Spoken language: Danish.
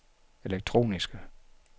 elektroniske